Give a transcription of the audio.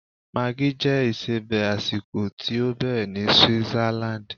Maggi jẹ́ isebẹ̀ àsìkò tí ó bẹ̀rẹ̀ ní Switzerland.